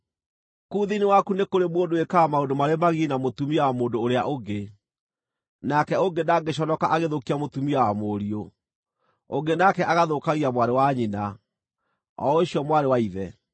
Kũu thĩinĩ waku nĩ kũrĩ mũndũ wĩkaga maũndũ marĩ magigi na mũtumia wa mũndũ ũrĩa ũngĩ, nake ũngĩ ndangĩconoka agĩthũkia mũtumia wa mũriũ, ũngĩ nake agathũkagia mwarĩ wa nyina, o ũcio mwarĩ wa ithe.